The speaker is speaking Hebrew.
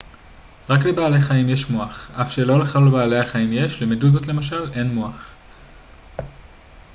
רק לבעלי חיים יש מוח אף שלא לכל בעלי החיים יש; למדוזות למשל אין מוח